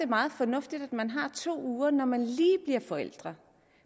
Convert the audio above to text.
meget fornuftigt at man har to uger når man lige bliver forældre